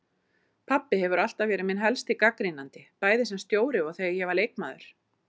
Pabbi hefur alltaf verið minn helsti gagnrýnandi, bæði sem stjóri og þegar ég var leikmaður.